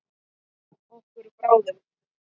Okkur báðum.